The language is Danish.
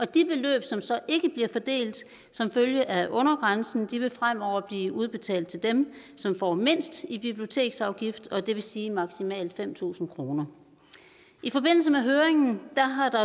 de beløb som så ikke bliver fordelt som følge af under grænsen vil fremover blive udbetalt til dem som får mindst i biblioteksafgifter det vil sige maksimalt fem tusind kroner i forbindelse med høringen har der